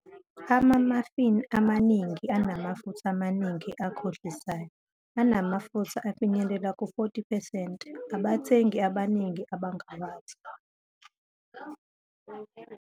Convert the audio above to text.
Ama-muffin amaningi anamafutha amaningi akhohlisayo, anamafutha afinyelela ku-40 percent, abathengi abaningi abangawazi.